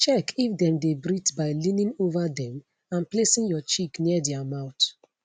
check if dem dey breathe by leaning ova dem and placing your cheek near dia mouth